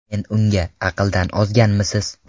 Men unga: ‘Aqldan ozganmisiz?